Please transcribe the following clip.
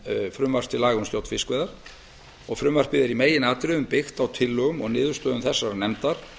frumvarps til laga um stjórn fiskveiða frumvarpið er í meginatriðum byggt á tillögum og niðurstöðum þessarar nefndar